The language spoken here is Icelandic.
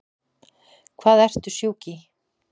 Hvað ertu sjúk í?